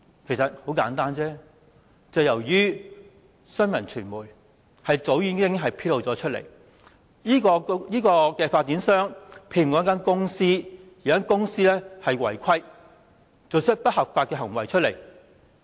原因很簡單，便是因為新聞傳媒早已經把事件披露出來，指出發展商聘用了一間顧問公司，而這間顧問公司卻違規做出不合法的行為。